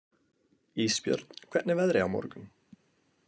Ísbjörn, hvernig er veðrið á morgun?